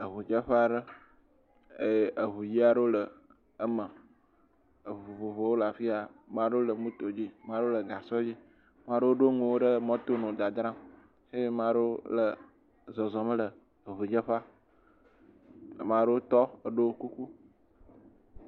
Eŋudzeƒea ɖe eye eŋu ʋi aɖewo le eme. Eŋu vovovowo le afi ya. Maɖewo le moto dzi. Maɖewo le gasɔ dzi. Maɖowo ɖo eŋuwo ɖe mɔto nɔ dzadzram eye maɖewo le zɔzɔm le eŋu dzeƒea. Maɖewo tɔ eɖo kuku.